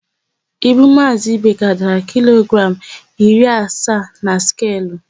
Ibu Maazị Ibeka dara kilogramụ iri asaa na skelu.